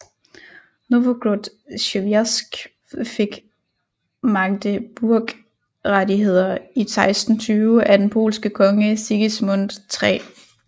Nowogród Siewierskj fik Magdeburgrettigheder i 1620 af den polske konge Sigismund 3